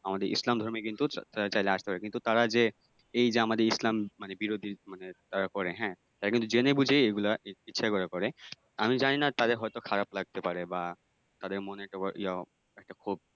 আমাদের ইসলাম ধর্মে কিন্তু চাইলে আসতে পারে কিন্তু তারা এই যে আমাদের এই যে ইসলাম মানে বিরোধী মানে তারা করে হ্যাঁ তারা কিন্তু জেনে বুঝে এইগুলা করে আমি জানিনা তাদের হয়তো খারাপ লাগতে পারে বা তাদের মনে একটা ক্ষোভ